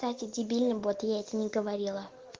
эти дебилы бот я это не говорила